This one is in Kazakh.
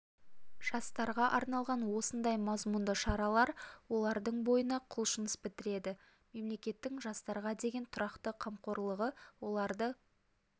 жастарға арналған осындай мазмұнды шаралар олардың бойына құлшыныс бітіреді мемлекеттің жастарға деген тұрақты қамқорлығы оларды